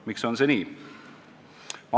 Miks on see nii?